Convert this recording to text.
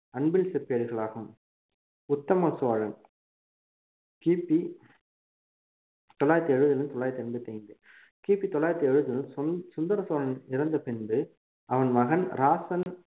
அன்பில் செப்பேடுகளாகும் உத்தம சோழன் கிபி தொள்ளாயிரத்தி எழுபதிலிருந்து தொள்ளாயிரத்தி எண்பத்தி ஐந்து கிபி தொள்ளாயிரத்தி எழுபது சுந்~ சுந்தர சோழன் இறந்த பின்பு அவன் மகன் ராசன்